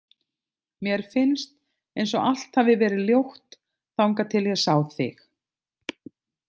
Mér finnst eins og allt hafi verið ljótt þangað til ég sá þig.